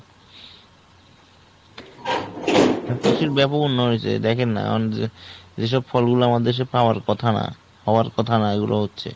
ব্যাপক উন্নয়ন হয়েছে দেখেন না, মানে যে এই সব ফল গুলা আমাদের দেশে পাওয়ার কথা না। পাওয়ার কথা না এই গুলো হচ্ছে।